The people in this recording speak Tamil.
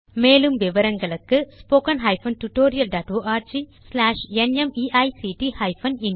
மேற்கொண்டு விவரங்கள் இந்த இணைப்பில் கிடைக்கும்